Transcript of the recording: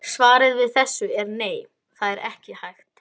Jörðin er einnig hnöttótt.